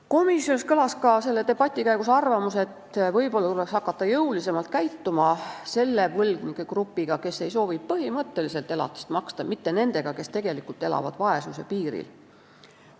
Komisjonis kõlas selle debati käigus ka arvamus, et võib-olla tuleks hakata jõulisemalt käituma selle võlgnike grupiga, kes ei soovi põhimõtteliselt elatist maksta, mitte nendega, kes elavad tegelikult vaesuse piiril.